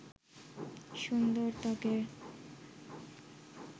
সুন্দর ত্বকের